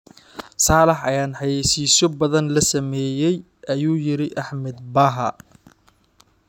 "Saalax ayaan xayeysiisyo badan la sameeyay" ayuu yiri Axmed Bahaa.